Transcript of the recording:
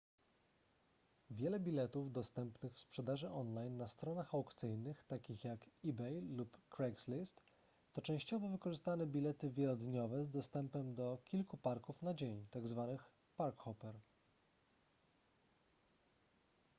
wiele biletów dostępnych w sprzedaży online na stronach aukcyjnych takich jak ebay lub craigslist to częściowo wykorzystane bilety wielodniowe z dostępem do kilku parków na dzień tzw. park-hopper